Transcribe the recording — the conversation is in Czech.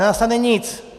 Nenastane nic.